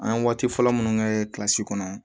An ye waati fɔlɔ minnu kɛ kɔnɔ